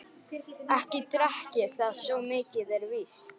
Ekki drekk ég það, svo mikið er víst.